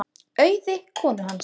Auði konu hans.